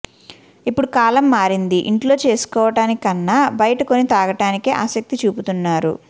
ఇప్పుడు కాలం మారింది ఇంట్లో చేసుకోవడానికి కన్నా బయట కొని తాగడానికే ఆసక్తి చూపుతున్నారు